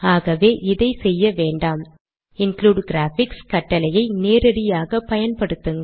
ஆகவே இதை செய்ய வேண்டாம்include கிராபிக்ஸ் கட்டளையை நேரடியாக பயன்படுத்துங்கள்